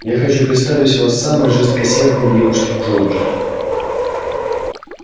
я хочу представить вас самой жесткосердной девушке в джорджиа